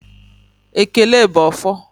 Ekele bụ ọfọ